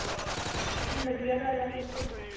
ਵਧੀਆ ਗੱਲ ਹੈ ਫੇਰ ਤੇ